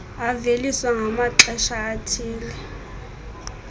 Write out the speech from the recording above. aveliswa ngamaxesha athile